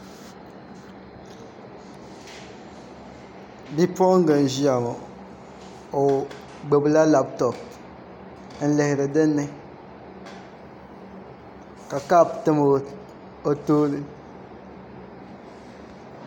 Bipuɣunga n ʒiya ŋo o gbubila labtop n lihiri dinni ka kaap tam o tooni